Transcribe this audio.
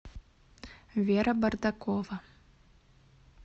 вера бардакова